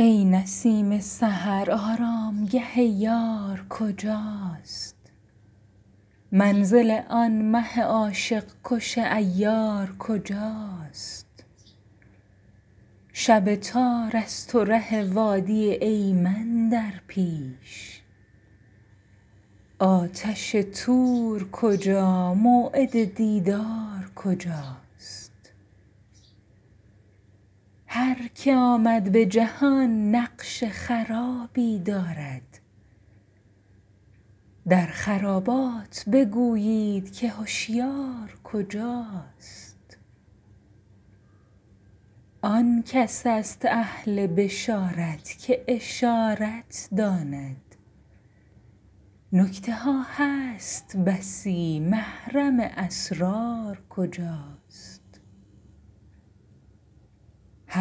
ای نسیم سحر آرامگه یار کجاست منزل آن مه عاشق کش عیار کجاست شب تار است و ره وادی ایمن در پیش آتش طور کجا موعد دیدار کجاست هر که آمد به جهان نقش خرابی دارد در خرابات بگویید که هشیار کجاست آن کس است اهل بشارت که اشارت داند نکته ها هست بسی محرم اسرار کجاست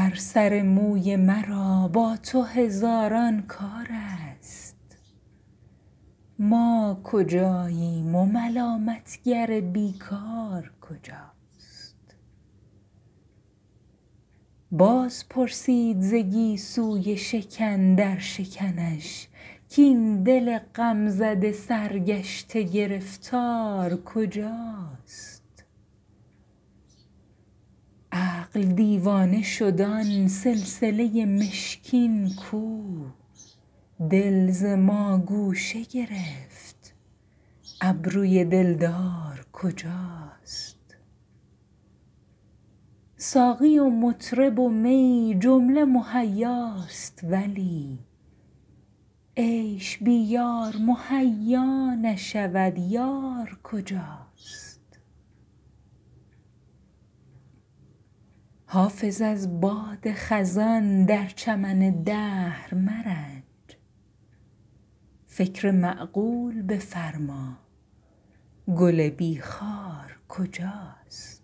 هر سر موی مرا با تو هزاران کار است ما کجاییم و ملامت گر بی کار کجاست باز پرسید ز گیسوی شکن در شکنش کاین دل غم زده سرگشته گرفتار کجاست عقل دیوانه شد آن سلسله مشکین کو دل ز ما گوشه گرفت ابروی دلدار کجاست ساقی و مطرب و می جمله مهیاست ولی عیش بی یار مهیا نشود یار کجاست حافظ از باد خزان در چمن دهر مرنج فکر معقول بفرما گل بی خار کجاست